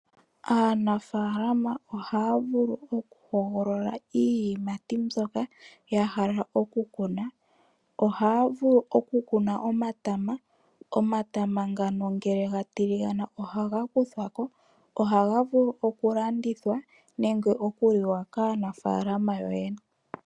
Aanafaalama ohaa vulu oku hogolola iiyimati mbyoka ya hala oku kuna. Ohaa vulu oku kuna omatama. Omatama ngano ngele ga tiligana ohaga kuthwa ko, ohaga vulu okulandithwa nenge okuliwa kaanafaalama yo yene.